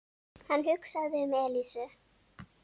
Hann hugsaði um Elísu.